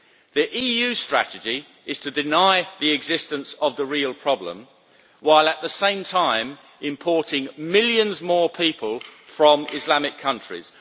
The EU strategy is to deny the existence of the real problem, while at the same time importing millions more people from Islamic countries.